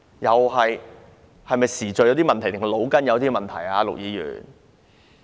陸議員是時序出了問題，還是腦袋有了問題呢？